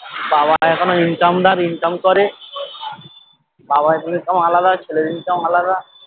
বাবা এখনো income দার income করে বাবার income আলাদা ছেলের income আলাদা